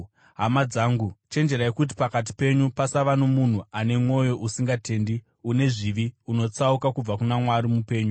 Hama dzangu, chenjererai kuti pakati penyu pasava nomunhu ano mwoyo usingatendi, une zvivi, unotsauka kubva kuna Mwari mupenyu.